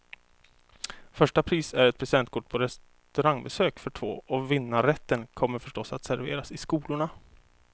Första pris är ett presentkort på restaurangbesök för två, och vinnarrätten kommer förstås att serveras i skolorna.